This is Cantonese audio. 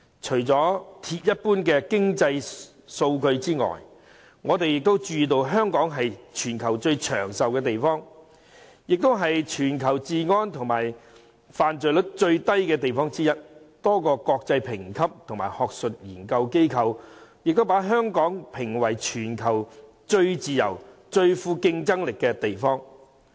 除了鐵一般的經濟數據外，香港是全球最長壽的地方，也是全球治安最好及犯罪率最低的地方之一，多個國際評級及學術研究機構亦把香港評為全球最自由、最富競爭力的地方。